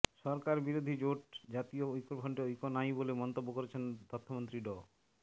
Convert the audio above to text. সরকারবিরোধী জোট জাতীয় ঐক্যফ্রন্টে ঐক্য নাই বলে মন্তব্য করেছেন তথ্যমন্ত্রী ড